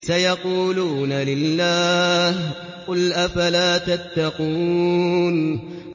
سَيَقُولُونَ لِلَّهِ ۚ قُلْ أَفَلَا تَتَّقُونَ